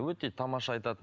өте тамаша айтады